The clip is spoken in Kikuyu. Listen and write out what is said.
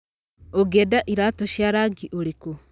Ũngĩenda iratũ cia rangi ũrĩkũ?